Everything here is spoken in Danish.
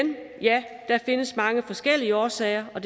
ja der findes mange forskellige årsager og